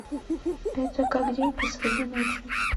это как день посреди ночи